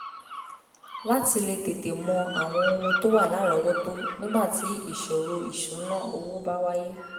láti lè tètè mọ àwọn ohun tó wà lárọ̀ọ́wọ́tó nígbà tí ìṣòro ìṣúnná owó bá wáyé